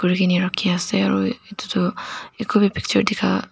rakhina ase aro edu toh ekubi picture dikha.